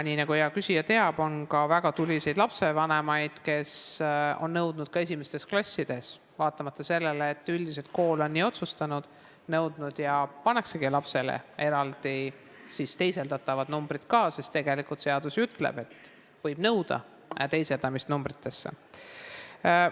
Nii nagu hea küsija teab, on lastevanemaid, kes on väga tuliselt nõudnud ka esimestes klassides numbrilist hinnangut, vaatamata sellele, et üldiselt on kool teisiti otsustanud, ja siis pannaksegi lapsele numbrid ka, sest seadus ütleb, et võib nõuda teisendamist numbritesse.